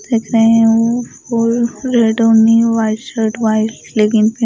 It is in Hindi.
देख रहे है वो वाइट शर्ट वाइट लेगींग पहन --